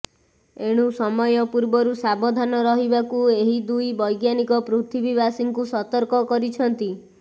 ଏଣୁ ସମୟ ପୂର୍ବରୁ ସାବଧାନ ରହିବାକୁ ଏହି ଦୁଇ ବୈଜ୍ଞାନିକ ପୃଥିବୀବାସୀଙ୍କୁ ସତର୍କ କରିଛନ୍ତି